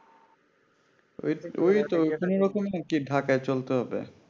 কোনো রকমে আরকি ঢাকায় চলতে হবে